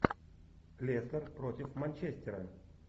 лестер против манчестера